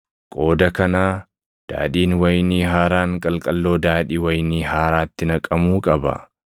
Qooda kanaa daadhiin wayinii haaraan qalqalloo daadhii wayinii haaraatti naqamuu qaba.